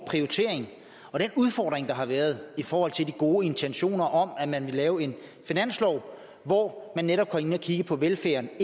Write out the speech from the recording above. og den udfordring der har været i forhold til de gode intentioner om at man ville lave en finanslov hvor man netop var inde at kigge på velfærden er